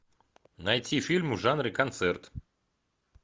найти фильмы в жанре концерт